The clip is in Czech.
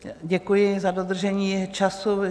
Děkuji za dodržení času.